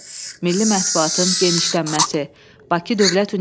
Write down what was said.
Cümhuriyyət dövrü ədəbiyyatı mövzu, problem baxımından fərqlənir.